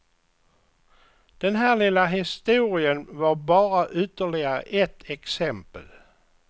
Den här lilla historien var bara ytterligare ett exempel.